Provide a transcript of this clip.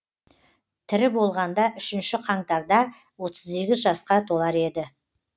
тірі болғанда үшінші қаңтарда отыз сегіз жасқа толар еді